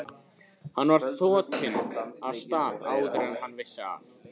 Hann var þotinn af stað áður en hann vissi af.